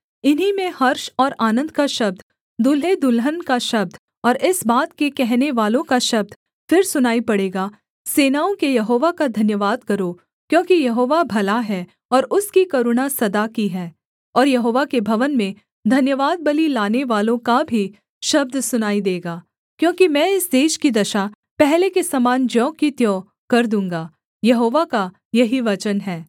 इन्हीं में हर्ष और आनन्द का शब्द दुल्हेदुल्हन का शब्द और इस बात के कहनेवालों का शब्द फिर सुनाई पड़ेगा सेनाओं के यहोवा का धन्यवाद करो क्योंकि यहोवा भला है और उसकी करुणा सदा की है और यहोवा के भवन में धन्यवादबलि लानेवालों का भी शब्द सुनाई देगा क्योंकि मैं इस देश की दशा पहले के समान ज्यों की त्यों कर दूँगा यहोवा का यही वचन है